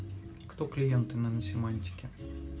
кто клиенты наносемантики